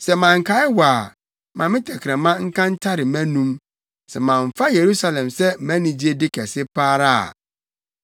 Sɛ mankae wo a, ma me tɛkrɛma nka ntare mʼanom sɛ mamfa Yerusalem sɛ mʼanigyede kɛse pa ara a.